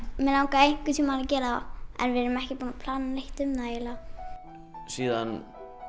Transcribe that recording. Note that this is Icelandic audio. mig langaði einhvern tímann að gera en við erum ekki búin að plana neitt um það eiginlega síðan